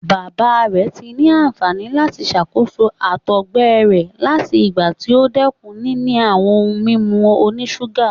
Baba rẹ ti ni anfani lati ṣakoso àtọgbẹ rẹ lati igba ti o dẹkun nini awọn ohun mimu onisuga